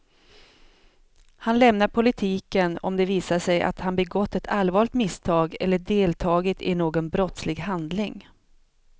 Han lämnar politiken om det visar sig att han begått ett allvarligt misstag eller deltagit i någon brottslig handling.